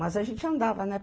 Mas a gente andava, né?